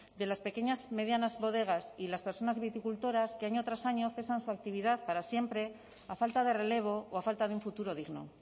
de las pequeñas y medianas bodegas y las personas viticultores que año tras año cesan su actividad para siempre a falta de relevo o a falta de un futuro digno